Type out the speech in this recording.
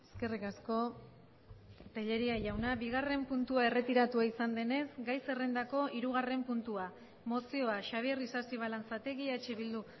eskerrik asko tellería jauna bigarren puntua erretiratua izan denez gai zerrendako hirugarren puntua mozioa xabier isasi balanzategi eh bildu